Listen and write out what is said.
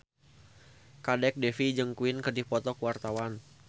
Kadek Devi jeung Queen keur dipoto ku wartawan